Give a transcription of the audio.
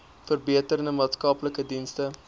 verbeterde maatskaplike dienste